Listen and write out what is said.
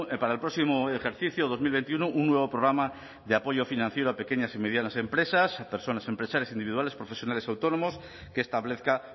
para el próximo ejercicio dos mil veintiuno un nuevo programa de apoyo financiero a pequeñas y medianas empresas a personas empresarias individuales profesionales autónomos que establezca